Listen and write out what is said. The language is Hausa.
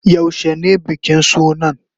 Yaushe ne bikin sunan?